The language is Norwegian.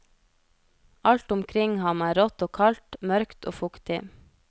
Alt omkring ham er rått og kaldt, mørkt og fuktig.